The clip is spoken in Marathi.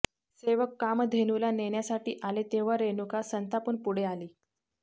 सेवक कामधेनूला नेण्यासाठी आले तेव्हा रेणुका संतापून पुढे आली